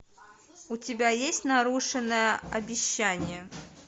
у тебя есть нарушенное обещание